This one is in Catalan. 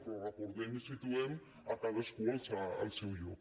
però recordem i situem cadascú al seu lloc